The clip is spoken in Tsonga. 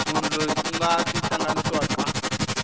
munhu loyi ku nga tihlanganisiwaka